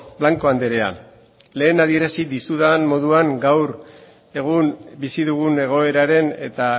blanco andrea lehen adierazi dizudan moduan gaur egun bizi dugun egoeraren eta